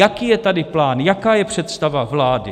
Jaký je tady plán, jaká je představa vlády?